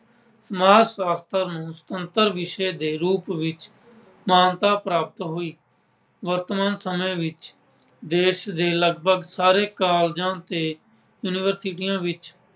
ਸਮਾਜ ਸ਼ਾਸਤਰ ਨੂੰ ਸੁਤੰਤਰ ਵਿਸ਼ੇ ਦੇ ਰੂਪ ਵਿੱਚ ਮਾਨਤਾ ਪ੍ਰਾਪਤ ਹੋਈ। ਵਰਤਮਾਨ ਸਮੇਂ ਵਿੱਚ ਦੇਸ਼ ਦੇ ਲਗਪਗ ਸਾਰੇ colleges ਤੇ universities ਵਿੱਚ